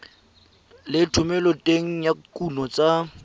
le thomeloteng ya dikuno tsa